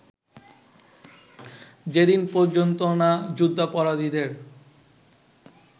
যেদিন পর্যন্ত না যুদ্ধাপরাধীদের